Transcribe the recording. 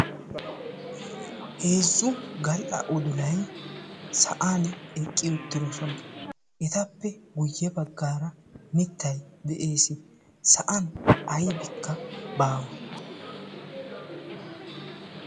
heezzu gal''a odulai sa'an eqqi uttidosona etappe guyye baggaara mittay de'ees sa'an aybbikka baawa